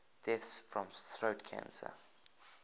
deaths from throat cancer